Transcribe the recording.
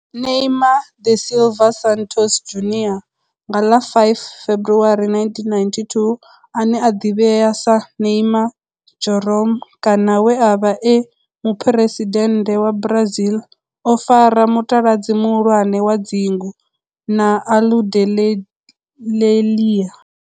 Neymar da Silva Santos Junior nga ḽa 5 February 1992, ane a ḓivhiwa sa Neymar Jeromme kana we a vha e muphuresidennde wa Brazil o fara mutaladzi muhulwane wa dzingu na Aludalelia.